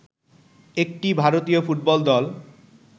একটি ভারতীয় ফুটবল দল